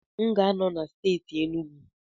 M ga-anọ na steeti Enugu